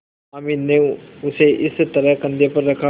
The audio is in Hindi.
हामिद ने उसे इस तरह कंधे पर रखा